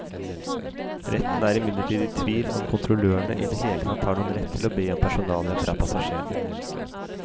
Retten er imidlertid i tvil om kontrollørene i det hele tatt har noen rett til å be om personalia fra passasjerene.